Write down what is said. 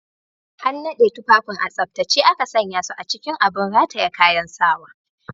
An naɗe tufafin a tsaftace aka sanya su a cikin abin rataye kayan sawa.